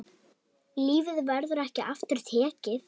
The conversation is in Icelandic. Lífið verður ekki aftur tekið.